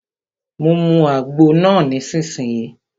Mu àgbo náà nísìsiyìí!